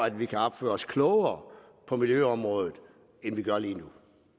at vi kan opføre os klogere på miljøområdet end vi gør lige